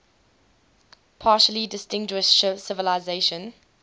particularly distinguished civilization